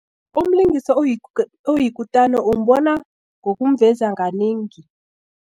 Umlingisi oyikutani umbona ngokumveza kanengi.